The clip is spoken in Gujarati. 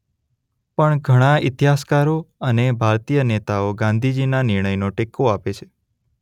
પણ ઘણાં ઇતિહાસકારો અને ભારતીય નેતાઓ ગાંધીજી ના નિર્ણયનો ટેકો આપે છે.